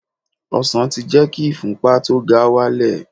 Ọsàn ti jẹ́ kí ìfúnpa tó ga wálẹ̀